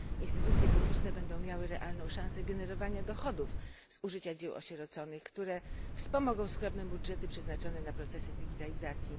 2 instytucje publiczne będą miały realną szansę generowania dochodów z użycia dzieł osieroconych, które wspomogą skromne budżety przeznaczone na procesy digitalizacji.